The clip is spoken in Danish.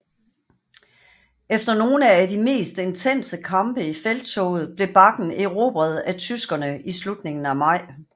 Efter nogle af de mest intense kampe i felttoget blev bakken erobret af tyskerne i slutningen af maj